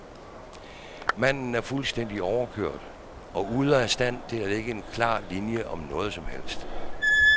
Manden er fuldstændig overkørt og ude af stand til at lægge en klar linje om noget som helst.